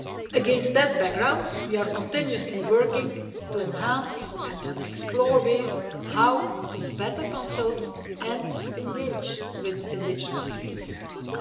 Against that background, we are constantly working to enhance and explore ways of consulting and engaging with indigenous peoples more effectively.